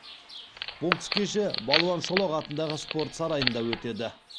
бокс кеші балуан шолақ атындағы спорт сарайында өтеді